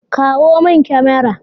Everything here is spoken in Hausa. Kawo min kyamara.